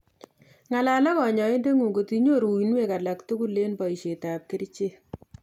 Ng'alal ak kanyoindet ng'ung ngotinyoru uinwek alak tugul eng' boishetab kerichek